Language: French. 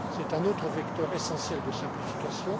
C'est un autre vecteur essentiel de simplification.